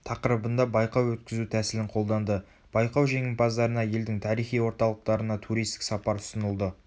тақырыбында байқау өткізу тәсілін қолданды байқау жеңімпаздарына елдің тарихи орталықтарына турситік сапар ұсынылды